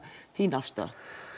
þín afstaða